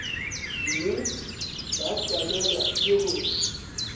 mme ba swanelwa ke go